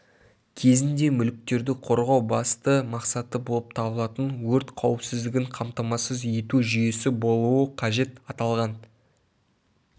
кезінде мүліктерді қорғау басты мақсаты болып табылатын өрт қауіпсіздігін қамтамасыз ету жүйесі болуы қажет аталған